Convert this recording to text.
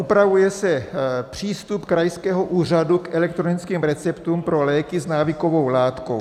Upravuje se přístup krajského úřadu k elektronickým receptům pro léky v návykovou látkou.